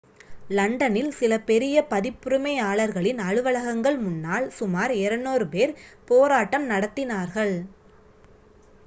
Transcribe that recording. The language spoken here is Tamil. லண்டனில் சில பெரிய பதிப்புரிமையாளர்களின் அலுவலகங்கள் முன்னால் சுமார் 200 பேர் போராட்டம் நடத்தினார்கள்